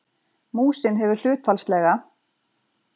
Músin hefur hlutfallslega